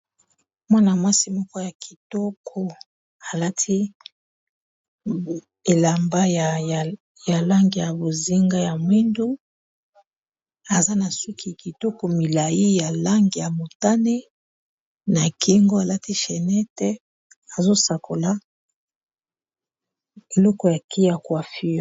Mwana-mwasi moko ya kitoko alati elamba ya lange ya bozinga ya mwindu aza na suki kitoko milai ya lange ya motane na kingo alati chenete azosakola eloko ya kiacuafur.